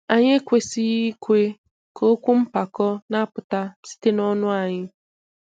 Anyị ekwesịghị ikwe ka okwu mpako na-apụta site nọnụ anyị.